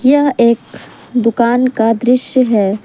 यह एक दुकान का दृश्य है ।